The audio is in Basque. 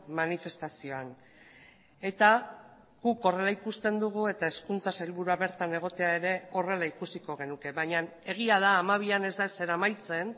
manifestazioan eta guk horrela ikusten dugu eta hezkuntza sailburua bertan egotea ere horrela ikusiko genuke baina egia da hamabian ez da ezer amaitzen